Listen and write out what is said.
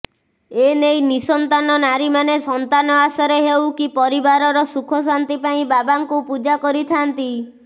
ଏନେଇ ନିଃସନ୍ତାନ ନାରୀମାନେ ସନ୍ତାନ ଆଶାରେ ହେଉ କି ପରିବାରର ସୁଖଶାନ୍ତି ପାଇଁ ବାବାଙ୍କୁ ପୂଜା କରିଥାନ୍ତି